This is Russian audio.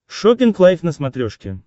шоппинг лайф на смотрешке